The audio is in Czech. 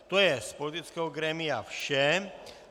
To je z politického grémia vše.